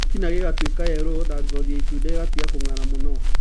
Gĩtina gĩgatuĩka yelo, na ngothi ya itunda ĩgatiga kũnga'ra mũno.